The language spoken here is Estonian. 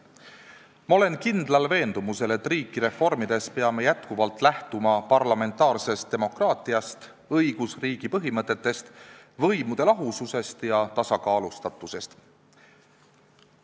Ma olen kindlal veendumusel, et riiki reformides peame jätkuvalt lähtuma parlamentaarsest demokraatiast, õigusriigi põhimõtetest, võimude lahususest ja tasakaalustatusest.